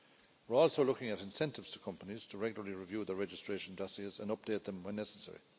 We are also looking at incentives to companies to regularly review the registration dossiers and update them when necessary.